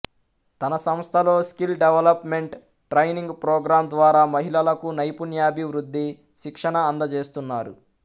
తన సంస్థలో skill development training program ద్వారా మహిళలకు నైపుణ్యాభివృద్ధి శిక్షణ అందజేస్తున్నారు